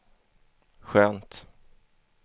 skönt